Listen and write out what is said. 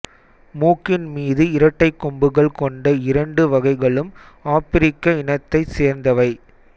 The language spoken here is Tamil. மூக்கின் மீது இரட்டைக் கொம்புகள் கொண்ட இரண்டு வகைகளும் ஆப்பிரிக்க இனத்தைச் சேர்ந்தவை